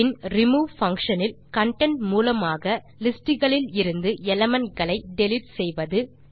பின் remove function இல் content மூலமாக list களிலிருந்து எலிமெண்ட் களை டிலீட் செய்வது